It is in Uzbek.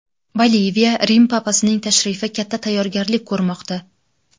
Boliviya Rim papasining tashrifi katta tayyorgarlik ko‘rmoqda.